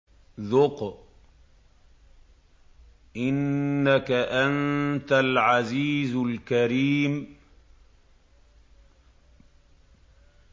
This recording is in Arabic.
ذُقْ إِنَّكَ أَنتَ الْعَزِيزُ الْكَرِيمُ